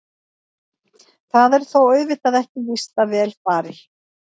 Það er þó auðvitað ekki víst að vel fari.